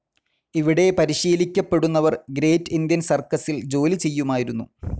ഇവിടെ പരിശീലിക്കപ്പെടുന്നവർ great Indian സർക്കസ്സിൽ ജോലിചെയ്യുമായിരുന്നു.